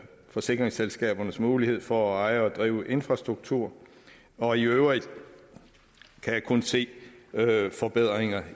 forsikringsselskabernes mulighed for at eje og drive infrastrukturprojekter og i øvrigt kan jeg kun se at der er forbedringer